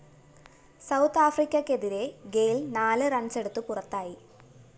south ആഫ്രിക്കക്കെതിരെ Gayle‍ നാല് റണ്‍സെടുത്ത് പുറത്തായി